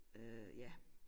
Øh ja